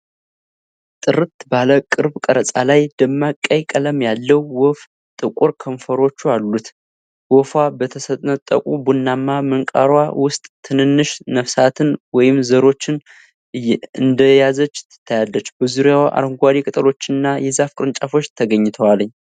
ጥርት ባለ ቅርብ ቀረጻ ላይ፣ ደማቅ ቀይ ቀለም ያለው ወፍ ጥቁር ክንፎቹ አሉት። ወፏ በተሰነጠቀ ቡናማ ምንቃሯ ውስጥ ትናንሽ ነፍሳትን ወይም ዘሮችን እንደያዘች ትታያለች። በዙሪያዋ አረንጓዴ ቅጠሎችና የዛፍ ቅርንጫፎች ተገኝተዋል።